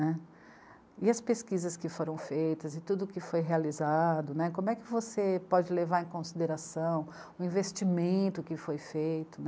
E as pesquisas que foram feitas e tudo o que foi realizado, né, como é que você pode levar em consideração o investimento que foi feito